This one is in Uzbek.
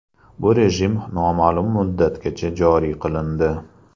Bu rejim noma’lum muddatgacha joriy qilindi.